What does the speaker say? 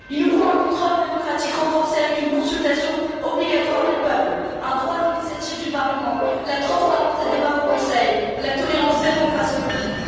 Il nous faut un contrôle démocratique renforcé avec une consultation obligatoire des peuples, un droit d'initiative du Parlement, la transparence des débats au Conseil, la tolérance zéro face aux lobbies.